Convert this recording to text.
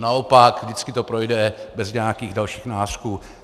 Naopak, vždycky to projde bez nějakých dalších nářků.